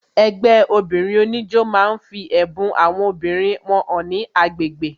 Ẹgbẹ́ obìnrin oníjó máa ń fi ẹ̀bùn àwọn obìnrin wọn hàn ní agbègbè